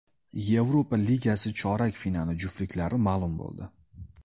Yevropa Ligasi chorak finali juftliklari ma’lum bo‘ldi.